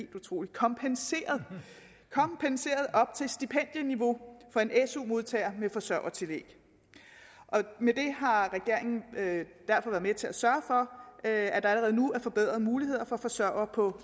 kompenseret op til stipendieniveau for en su modtager med forsørgertillæg med det har regeringen derfor været med til at sørge for at at der allerede nu er forbedrede muligheder for forsørgere på